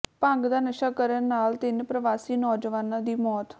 ਭੰਗ ਦਾ ਨਸ਼ਾ ਕਰਨ ਨਾਲ ਤਿੰਨ ਪ੍ਰਵਾਸੀ ਨੌਜਵਾਨਾਂ ਦੀ ਮੌਤ